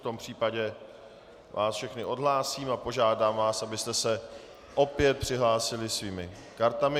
V tom případě vás všechny odhlásím a požádám vás, abyste se opět přihlásili svými kartami.